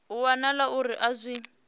ho wanala uri a zwi